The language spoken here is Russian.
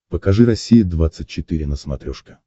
покажи россия двадцать четыре на смотрешке